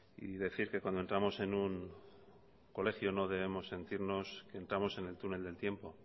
y decir que cuando entramos en un colegio no debemos sentirnos que entramos en el túnel del tiempo